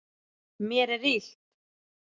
Mér er illt.